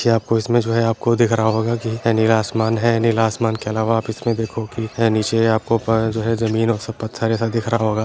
क्या आपको इसमें जो है आपको दिख रहा होगा कि यह नीला आसमान है नीला आसमान के अलावा आप इसमें देखो कि है नीचे आपको प-जो है जमीन और पत्थर जैसा दिख रहा होगा।